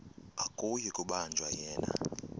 akuyi kubanjwa yena